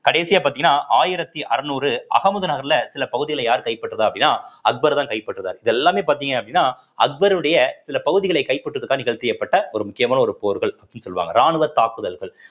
கடைசியா பார்த்தீங்கன்னா ஆயிரத்தி அறுநூறு அகமுது நகர்ல சில பகுதிகளை யார் கைப்பற்றுறா அப்படின்னா அக்பர்தான் கைப்பற்றுறார் இது எல்லாமே பார்த்தீங்க அப்படின்னா அக்பருடைய சில பகுதிகளை கைப்பற்றுவதற்காக ஒரு முக்கியமான ஒரு போர்கள் அப்படின்னு சொல்லுவாங்க ராணுவ தாக்குதல்கள்